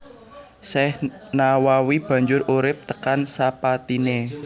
Syekh Nawawi banjur urip tekan sapatine